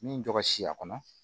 Min jɔ ka si a kɔnɔ